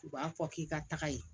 U b'a fɔ k'i ka taga ye